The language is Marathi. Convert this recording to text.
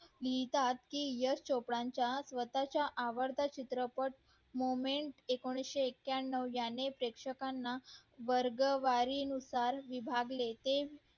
ते लिहितात यश चोप्रा च स्वतः चा आवडता चित्रपट एकोणीशे ऐक्यानव याने प्रेक्षकांना वर्गवारी नुसार विभागले ते